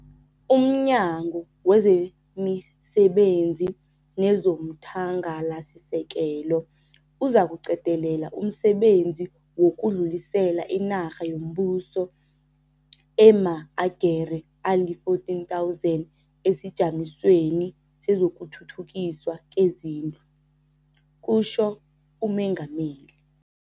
"UmNyango wezemiSebenzi nezomThangalasisekelo uzakuqedelela umsebenzi wokudlulisela inarha yombuso ema-agere ali-14 000 esiJamisweni sezokuThuthukiswa kweziNdlu," kutjho uMengameli.